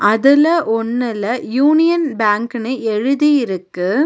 அதுல ஒன்னுல யூனியன் பேங்க்னு எழுதி இருக்கு.